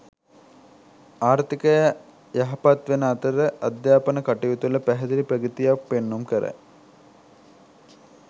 ආර්ථිකය යහපත් වන අතර අධ්‍යාපන කටයුතුවල පැහැදිලි ප්‍රගතියක් පෙන්නුම් කරයි.